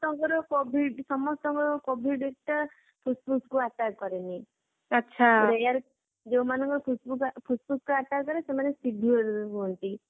ସମସ୍ତଙ୍କର covid ସମସ୍ତଙ୍କର covid ଟା ଫୁସଫୁସ କୁ attack କରେନି ଆଚ୍ଛା ଯୋଊମାନଙ୍କର ଫୁସଫୁସକୁ attack କରେ ସେମାନେ saviour ହୁଅନ୍ତି